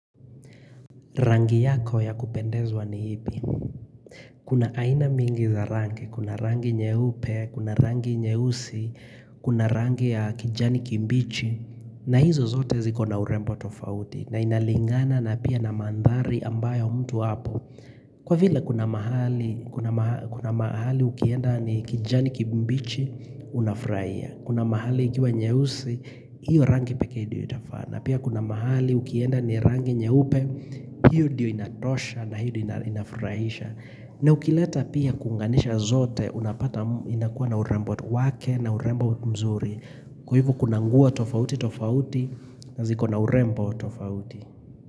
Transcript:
Rangi yako ya kupendezwa ni ipi. Kuna aina mingi za rangi, kuna rangi nyeupe, kuna rangi nyeusi, kuna rangi ya kijani kimbichi, na hizo zote zikona urembo tofauti. Na inalingana na pia na mandhari ambayo mtu hapo. Kwa vila kuna mahali, kuna mahali ukienda ni kijani kimbichi, unafurahia. Kuna mahali ikiwa nyehusi, hiyo rangi pekee ndiyo anafaa. Na pia kuna mahali ukienda ni rangi nyeupe, hiyo ndiyo inatosha na hili inafurahisha. Na ukileta pia kuunganisha zote, unapata inakuwa na urembo wake na urembo mzuri. Kwa hivyo kuna nguo tofauti tofauti na ziko na urembo tofauti.